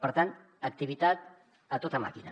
per tant activitat a tota màquina